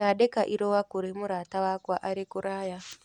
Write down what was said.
Ndandĩka irũa kũrĩ mũrata wakwa arĩ kũraya.